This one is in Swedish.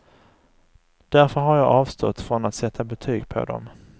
Därför har jag avstått från att sätta betyg på dem.